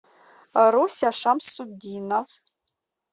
руся шамсутдинов